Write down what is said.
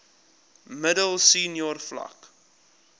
middel senior vlak